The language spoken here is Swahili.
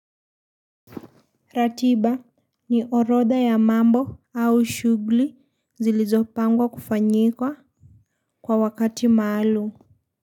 Ratiba ni oroda ya mambo au shugli zilizopangwa kufanyika kwa wakati maalum.